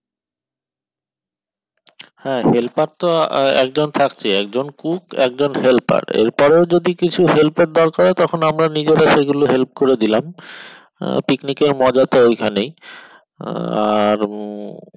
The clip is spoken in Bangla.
হ্যাঁ helper তো একজন থাকছেই একজন cook একজন helper এর পরেও যদি কিছু help এর দরকার হয় তখন আমরা নিজেরে সেগুলো help করে দিলাম আহ picnic এর মজা তো ওই খানেই আহ আর উম